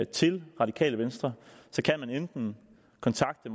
til radikale venstre kan man kontakte